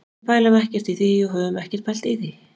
Við pælum ekkert í því og höfum ekkert pælt í því.